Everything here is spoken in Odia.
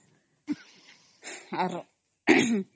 noise